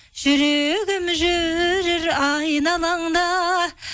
жүрегім жүрер айналаңда